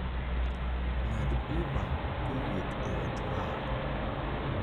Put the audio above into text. ng'ad uber kowuok e ot maa